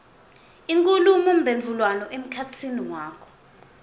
inkhulumomphendvulwano emkhatsini wakho